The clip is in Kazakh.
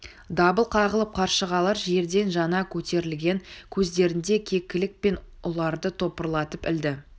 дабыл қағылып қаршығалар жерден жаңа көтерілген кездерінде кекілік пен ұларды топырлатып ілді